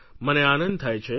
મને આનંદ થાય છે